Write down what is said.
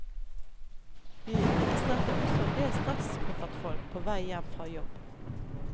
Vi registrerte også endel stresskoffertfolk på vei hjem fra jobb.